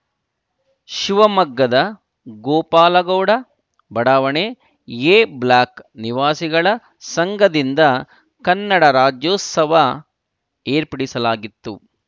ಶಿವಮೊಗ್ಗದ ಗೋಪಾಲಗೌಡ ಬಡಾವಣೆ A block ನಿವಾಸಿಗಳ ಸಂಘದಿಂದ ಕನ್ನಡ ರಾಜ್ಯೋತ್ಸವ ಏರ್ಪಡಿಸಲಾಗಿತ್ತು